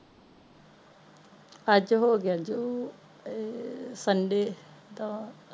ਅੱਜ ਹੋਗਿਆ ਜੀ ਏ sunday ਦਾ